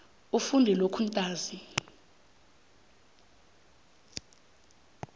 ufunde lokhu ntanzi